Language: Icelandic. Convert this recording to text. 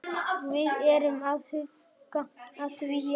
Við erum að huga að því, já.